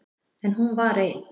En hún var ein.